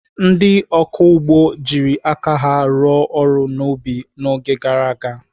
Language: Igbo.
Ndị ọkụ ugbo jiri aka ha rụọ ọrụ n'ubi n'oge gara aga.